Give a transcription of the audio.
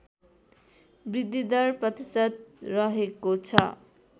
बृद्धिदर प्रतिशत रहेको छ